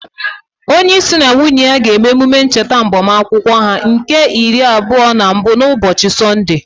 Onye isi na nwunye ya ga-eme ememe ncheta agbamakwụkwọ ha nke iri abụọ na mbụ na ụbọchị Sọnde.